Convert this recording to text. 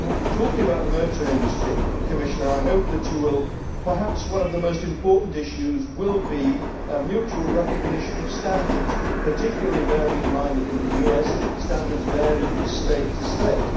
Talking about the motor industry, Commissioner, perhaps one of the most important issues will be a mutual recognition of standards, particularly bearing in mind that in the US standards vary from state to state.